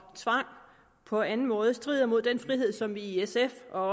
tvang på anden måde strider mod den frihed som vi i sf og